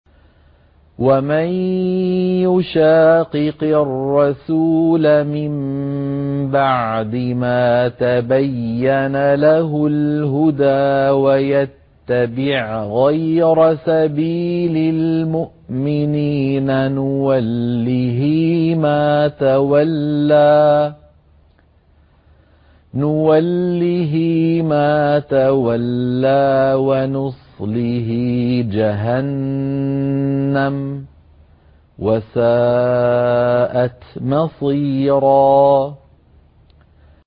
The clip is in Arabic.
وَمَن يُشَاقِقِ الرَّسُولَ مِن بَعْدِ مَا تَبَيَّنَ لَهُ الْهُدَىٰ وَيَتَّبِعْ غَيْرَ سَبِيلِ الْمُؤْمِنِينَ نُوَلِّهِ مَا تَوَلَّىٰ وَنُصْلِهِ جَهَنَّمَ ۖ وَسَاءَتْ مَصِيرًا